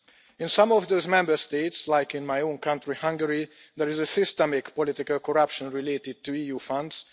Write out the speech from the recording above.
In some of the Member States, like in my own county Hungary there is systemic political corruption related to the EU funds.